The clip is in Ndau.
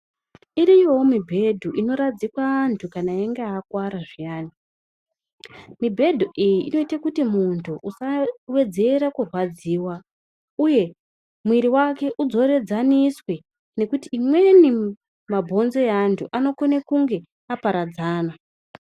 Iriko mibhedhu inoradzikwa antu kana achinge arwara zviyani mibhedhu iyi inoita kuti muntu usawedzera kurwadziwa uye mwiri yake idzorenzaniswe nekuti amweni mabhonzo evantu anokona kunge aparadzana.